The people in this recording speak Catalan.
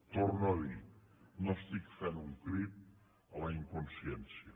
torno a dir no estic fent un crit a la inconsciència